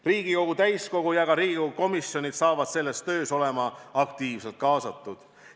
Riigikogu täiskogu ja ka Riigikogu komisjonid on sellesse töösse aktiivselt kaasatud.